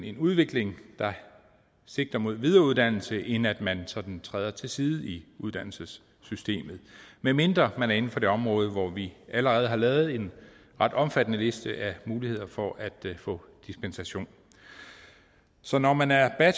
en udvikling der sigter mod videreuddannelse snarere end at man sådan træder til siden i uddannelsessystemet medmindre man er inden for det område hvor vi allerede har lavet en ret omfattende liste af muligheder for at få dispensation så når man er er